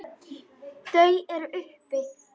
Þau eru uppi.